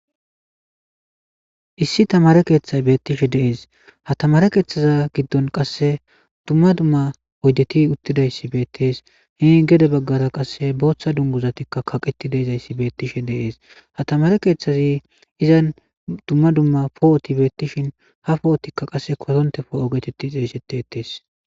Issi tamare keeththay beettishe deees ha tamare keeththaza giddon qasse dumma dumma oydeti uttidayssi beettees he gede baggara qasse booththa dunguzatikka kaqeti deizayssi beettishe deees hatamare keeththazi izan dumma dumma poo7oti beettishin ha poo7otikka qasse kotontefo ogetetti xeeshete ettees.